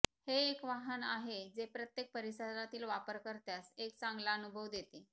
हे एक वाहन आहे जे प्रत्येक परिसरातील वापरकर्त्यास एक चांगला अनुभव देते